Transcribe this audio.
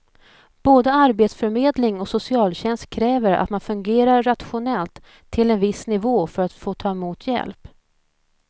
Både arbetsförmedling och socialtjänst kräver att man fungerar rationellt till en viss nivå för att få ta emot hjälp.